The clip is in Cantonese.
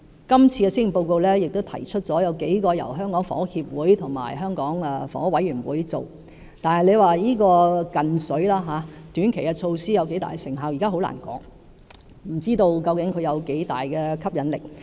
今次的施政報告也提出了數項由香港房屋協會和香港房屋委員會推出的措施，但這"近水"的短期措施有多大成效，現時很難說，不知道究竟有多大的吸引力。